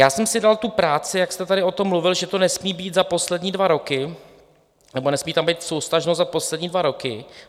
Já jsem si dal tu práci, jak jste tady o tom mluvil, že to nesmí být za poslední dva roky nebo nesmí tam být souvztažnost za poslední dva roky.